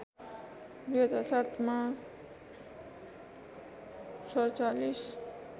२००७ मा ४७